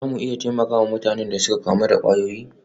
Za mu iya taimaka wa mutanen da suka kamu da kwayoyi?